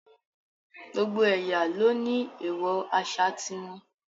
Gbogbo ẹ̀yà ló ní èèwọ̀ àṣà ti wọn